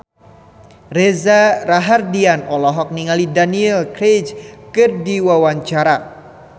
Reza Rahardian olohok ningali Daniel Craig keur diwawancara